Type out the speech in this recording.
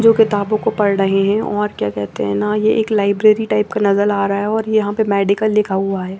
जो किताबो को पढ़ रहे है और क्या कहते है ना ये एक लाइब्रेरी टाइप का नज़र आरहा है और यहाँ पर मेडिकल लिखा हुआ है।